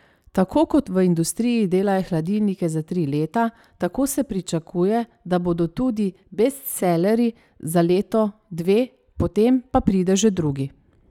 Tako kot v industriji delajo hladilnike za tri leta, tako se pričakuje, da bodo tudi bestsellerji za leto, dve, potem pa pride že drugi.